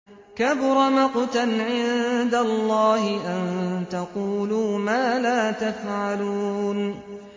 كَبُرَ مَقْتًا عِندَ اللَّهِ أَن تَقُولُوا مَا لَا تَفْعَلُونَ